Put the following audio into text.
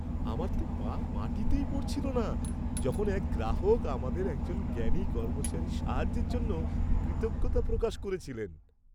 আমার তো পা মাটিতেই পড়ছিল না যখন এক গ্রাহক আমাদের একজন জ্ঞানী কর্মচারীর সাহায্যের জন্য কৃতজ্ঞতা প্রকাশ করেছিলেন।